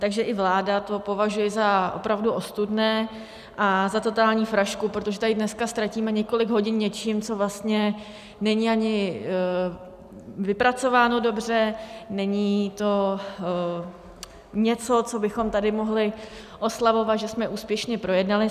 Takže i vláda to považuje za opravdu ostudné a za totální frašku, protože tady dneska ztratíme několik hodin něčím, co vlastně není ani vypracováno dobře, není to něco, co bychom tady mohli oslavovat, že jsme úspěšně projednali.